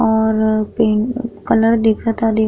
और pink colour दिखता दी --